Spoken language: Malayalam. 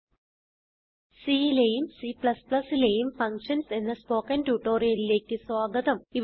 C ലെയും C ലെയും ഫങ്ഷൻസ് എന്ന സ്പോകെൻ ട്യൂട്ടോറിയലിലേക്ക് സ്വാഗതം